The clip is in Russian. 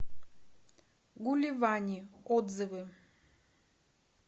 гуливани отзывы